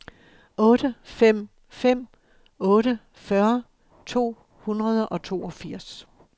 otte fem fem otte fyrre to hundrede og toogfirs